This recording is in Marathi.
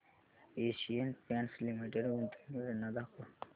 एशियन पेंट्स लिमिटेड गुंतवणूक योजना दाखव